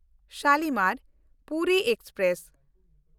Shalimar Puri express